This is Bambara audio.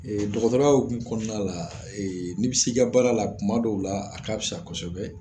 Dɔgɔtɔrɔya hukumu kɔnɔna la ee n'i bɛ se i ka baara la tuma dɔw la a k'a fisa kosɛbɛ